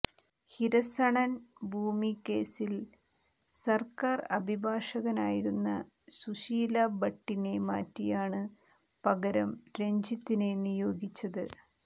ഹിരസണൺ ഭൂമി കേസിൽ സർക്കാർ അഭിഭാഷകയായിരുന്ന സുശീലാ ഭട്ടിനെ മാറ്റിയാണ് പകരം രഞ്ജിത്തിനെ നിയോഗിച്ചത്